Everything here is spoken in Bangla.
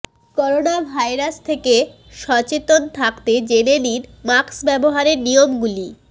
করোনা ভাইরাস থেকে সচেতন থাকতে জেনে নিন মাস্ক ব্যবহারের নিয়ম গুলি